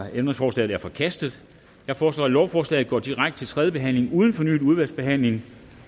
ændringsforslaget er forkastet jeg foreslår at lovforslaget går direkte til tredje behandling uden fornyet udvalgsbehandling